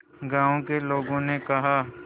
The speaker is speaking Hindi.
गांव के लोगों ने कहा